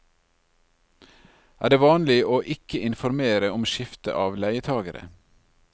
Er det vanlig å ikke informere om skifte av leietagere?